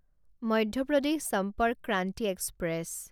Madhya Pradesh Sampark Kranti express